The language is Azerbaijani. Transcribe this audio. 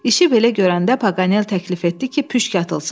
İşi belə görəndə Paqanel təklif etdi ki, püşk atılsın.